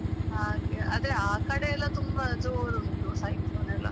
ಹಾಗೆ ಅದೇ ಆ ಕಡೆ ಎಲ್ಲ ತುಂಬ ಜೋರುಂಟು cyclone ಎಲ್ಲಾ.